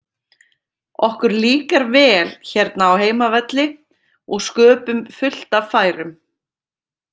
Okkur líkar vel hérna á heimavelli og sköpum fullt af færum.